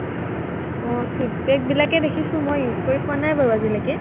আহ feedback বিলাকেই দেখিছো মই, use কৰি পোৱা নাই বাৰু আজিলৈকে